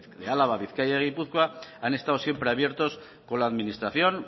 de álava bizkaia y gipuzkoa han estado siempre abiertos con la administración